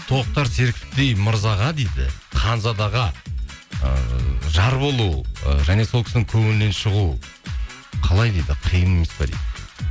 тоқтар серіковтей мырзаға дейді ханзадаға ыыы жар болу ы және сол кісінің көңілінен шығу қалай дейді қиын емес пе дейді